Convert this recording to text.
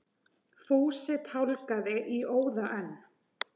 Fúsi tálgaði í óða önn.